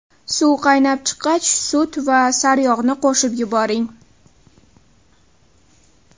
Suv qaynab chiqqach, sut va saryog‘ni qo‘shib yuboring.